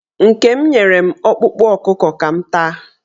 Nke m nyere m ọkpụkpụ ọkụkọ ka m taa.